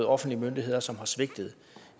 offentlige myndigheder som har svigtet